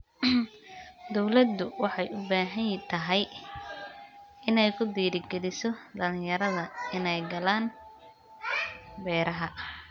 Dawladdu waxay u baahan tahay inay ku dhiirigeliso dhalinyarada inay galaan beeraha.